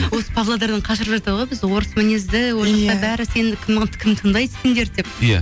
осы павлодардан қашырып жатады ғой бізді орыс мінезді кім тыңдайды сендерді деп иә